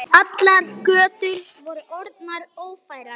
Allar götur voru orðnar ófærar.